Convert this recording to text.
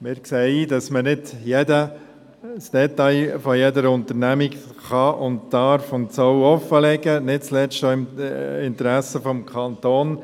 Wir sehen ein, dass man nicht jedes Detail von jeder Unternehmung offenlegen kann, darf und soll – nicht zuletzt auch im Interesse des Kantons.